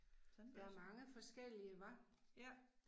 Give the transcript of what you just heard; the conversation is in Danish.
Der er mange forskellige hva?